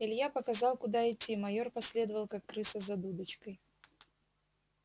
илья показал куда идти майор последовал как крыса за дудочкой